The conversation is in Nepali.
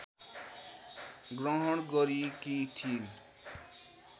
ग्रहण गरेकी थिइन्